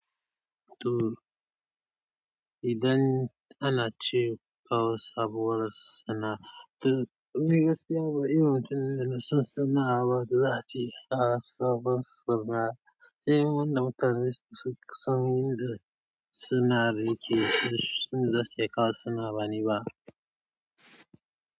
To idan ana ci kawai saboda sana'a, to me gaskiya ba iyon tun da nasu sana'a ba da za ce ana sabon sana'a. Sai wannan mutane su kusan yanda suna rike su da sai kawai suna bani ba.